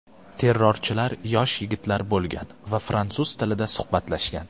Terrorchilar yosh yigitlar bo‘lgan va fransuz tilida suhbatlashgan.